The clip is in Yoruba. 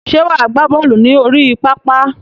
Ṣé wà á gbá bọ́ọ̀lù ní orí pápá?